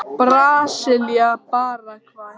Brasilía- Paragvæ